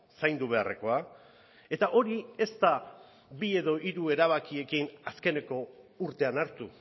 zaindu beharrekoa eta hori ez da bi edo hiru erabakiekin azkeneko urtean hartu